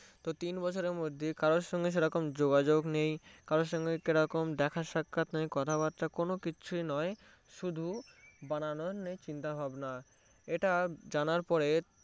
তো তিন বছরের মধ্যে কার সাথে সেরকম কোনো যোগাযোগ নেই কারো সাথে সেরকম দেখা সাক্ষাত কথাবার্তা কোনোকিচ্ছুই নয় শুধু বানানোর চিন্তা এটা জানার পরে